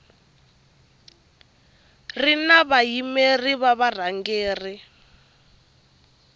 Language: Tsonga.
ri na vayimeri va varhangeri